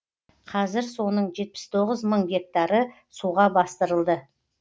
қазір соның жепіс тоғыз мың гектары суға бастырылды